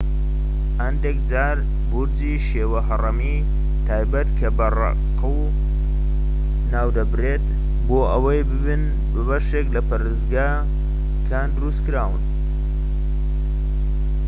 هەندێک جار بورجی شێوە هەڕەمی تایبەت کە بە زەقورە ناودەبرێت بۆ ئەوەی ببن بەشێک بن لە پەرستگاکان دروستکران